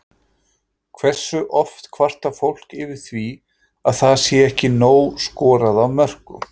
Hversu oft kvartar fólk yfir því að það sé ekki nóg skorað af mörkum?